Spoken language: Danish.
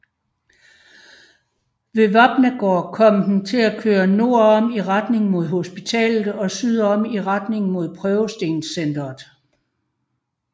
Ved Vapnagaard kom den til at køre nordom i retning mod hospitalet og sydom i retning mod Prøvestenscentret